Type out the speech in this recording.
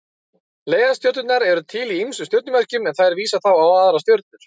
Leiðarstjörnur eru til í ýmsum stjörnumerkjum en þær vísa þá á aðrar stjörnur.